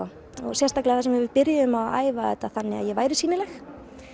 sérstaklega þar sem við byrjuðum að æfa þetta þannig að ég væri sýnileg